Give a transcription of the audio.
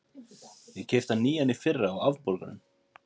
Ég keypti hann nýjan í fyrra, á afborgunum.